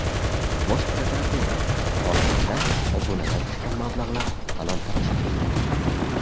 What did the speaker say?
Bosh prokuratura: Xorazmda obunadan tushgan mablag‘lar talon-toroj qilingan.